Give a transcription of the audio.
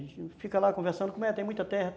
A gente fica lá conversando, como é, tem muita terra?